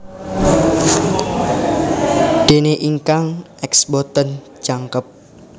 Déné ingkang X boten jangkep